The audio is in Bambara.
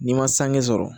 N'i ma sange sɔrɔ